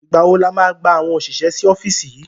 Ìgbá wo la máa gba àwọn òṣìṣẹ́ sí ọ́fíìsì yìí?